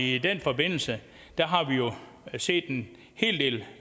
i den forbindelse set en hel del